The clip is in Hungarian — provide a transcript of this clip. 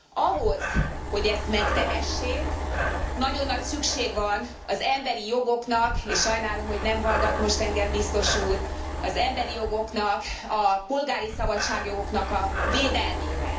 Ahhoz, hogy ezt megtehessék, nagyon nagy szükség van az emberi jogoknak, és sajnálom, hogy nem hallgat most engem biztos úr, az emberi jogoknak, a polgári szabadságjogoknak a védelmére.